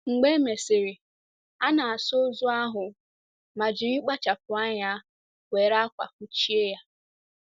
Mgbe e mesịrị, a na - asa ozu ahụ ma jiri kpachapụ anya were ákwà fụchie ya.